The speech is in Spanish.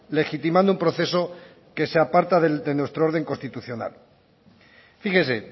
legitimando un proceso que se aparta de nuestro orden constitucional fíjese